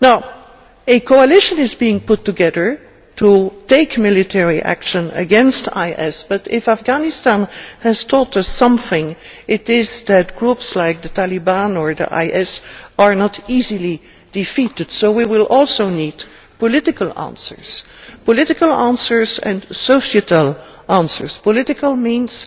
Now, a coalition is being put together to take military action against IS, but if Afghanistan has taught us anything it is that groups like the Taliban or IS are not easily defeated, so we will also need political answers political answers and societal answers. Political action means